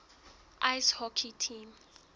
ice hockey team